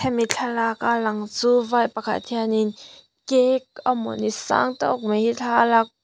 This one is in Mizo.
hemi thlalaka lang chu vai pakhat hianin cake amawni sang tawk mai hi thla a lakpui--